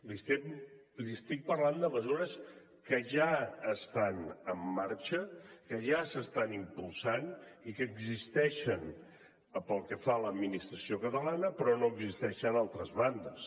li estic parlant de mesures que ja estan en marxa que ja s’estan impulsant i que existeixen pel que fa a l’administració catalana però no existeixen a altres bandes